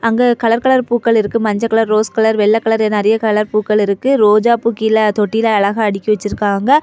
அங்க colour colour பூக்கள் இருக்கும் மஞ்ச கலர் ரோஸ் கலர் வெள்ளை கலர் நிறைய கலர் பூக்கள் இருக்கு ரோஜாப்பூ கீழ தொட்டில அழகா அடுக்கி வச்சிருக்காங்க.